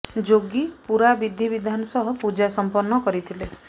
ଯୋଗୀ ପୁରା ବିଧି ବିଧାନ ସହ ପୂଜା ସମ୍ପନ୍ନ କରିଥିଲେ